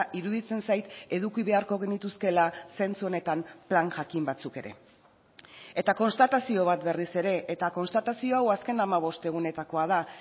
iruditzen zait eduki beharko genituzkeela zentzu honetan plan jakin batzuk ere eta konstatazio bat berriz ere eta konstatazio hau azken hamabost egunetakoa da